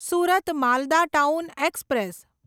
Surat Malda town express